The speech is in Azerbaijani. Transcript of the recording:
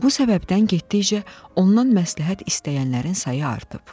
Bu səbəbdən getdikcə ondan məsləhət istəyənlərin sayı artıb.